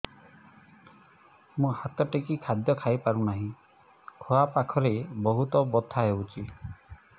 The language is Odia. ମୁ ହାତ ଟେକି ଖାଦ୍ୟ ଖାଇପାରୁନାହିଁ ଖୁଆ ପାଖରେ ବହୁତ ବଥା ହଉଚି